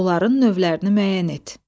Onların növlərini müəyyən et.